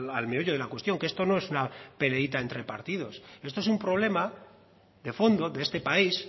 al meollo de la cuestión que esto no es una peleíta entre partidos esto es un problema de fondo de este país